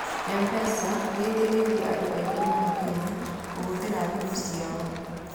M-Pesa nĩ ĩteithĩtie andũ aingĩ mũno Kenya kũhũthĩra thimũ ciao.